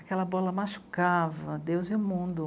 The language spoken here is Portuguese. Aquela bola machucava Deus e o mundo.